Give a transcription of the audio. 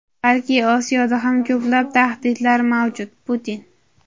balki Osiyoda ham ko‘plab tahdidlar mavjud – Putin.